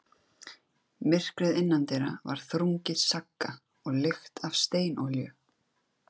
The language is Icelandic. Myrkrið innandyra var þrungið sagga og lykt af steinolíu.